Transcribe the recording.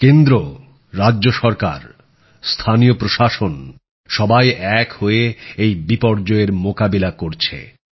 কেন্দ্র রাজ্য সরকার স্থানীয় প্রশাসন সবাই এক হয়ে এই বিপর্যয়ের মোকাবিলা করছে